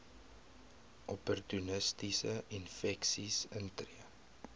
opportunistiese infeksies intree